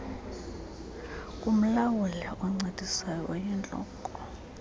kumlawuli oncedisayo oyintloko